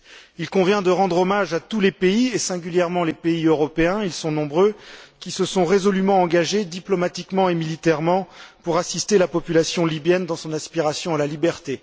Il convient de rendre hommage à tous les pays, et singulièrement aux pays européens et ils sont nombreux qui se sont résolument engagés, diplomatiquement et militairement, pour assister la population libyenne dans son aspiration à la liberté.